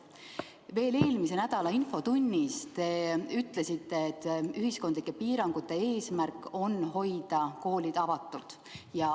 Veel eelmise nädala infotunnis te ütlesite, et ühiskondlike piirangute eesmärk on hoida koolid avatuna.